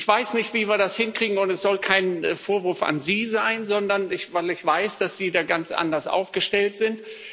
Ich weiß nicht, wie wir das hinkriegen, und es soll kein Vorwurf an Sie sein, weil ich weiß, dass Sie da ganz anders aufgestellt sind.